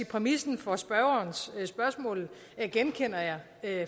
præmissen for spørgerens spørgsmål genkender jeg